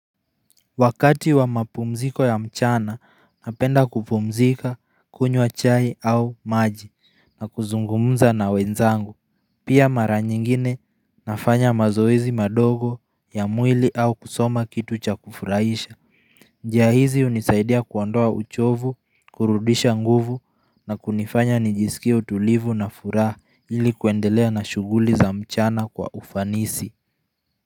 Wakati wa mapumziko ya mchana napenda kupumzika kunywa chai au maji na kuzungumza na wenzangu Pia mara nyingine nafanya mazoezi madogo ya mwili au kusoma kitu cha kufurahisha njia hizi hunisaidia kuondoa uchovu, kurudisha nguvu na kunifanya nijisikie utulivu na furaha ili kuendelea na shuguli za mchana kwa ufanisi kazi.